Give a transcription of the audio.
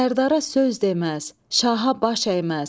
Sərdara söz deməz, şaha baş əyməz.